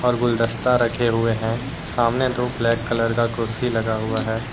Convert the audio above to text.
और गुलदस्ता रखे हुए हैं सामने दो ब्लैक कलर का कुर्सी लगा हुआ है।